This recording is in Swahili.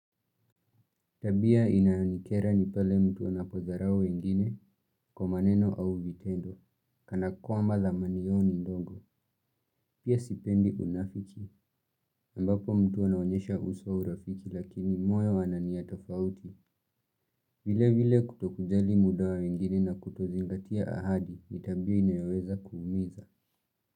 Tabia inayonikera ni pale mtu anapodharau wengine kwa maneno au vitendo. Kana kwamba thamani yao ni ndogo. Pia sipendi unafiki. Ambapo mtu anaonyesha uso urafiki lakini moyo wana nia tofauti. Vilevile kutokujali muda wa wengine na kutozingatia ahadi ni tabia inayoweza kuumiza.